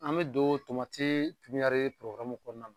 An bɛ don tomatii piɲari kɔɔna na.